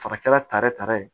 Farajɛla kare ta ye